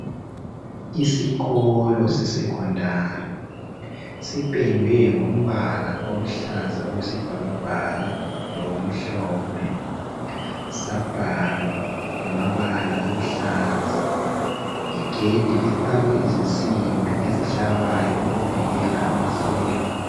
Isikolo se secondary sipendwe ngombala oluhlaza okwesibhakabhaka lokumhlophe sabhalwa ngamabala aluhlaza. Igedi lifakwe izinsimbi ezihlabayo ukuvikela amasela.